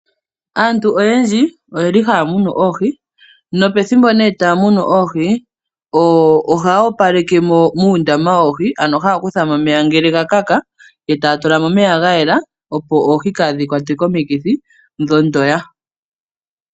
Aantu oyendji oyeli haya munu oohi nopethimbo taya munu oohi ohaya opaleke muundama woohi. Ano haya kuthamo omeya ngele ga kaka etaya tulamo omeya ga yela opo oohi kadhi kwatwe komikithi dho ndoya.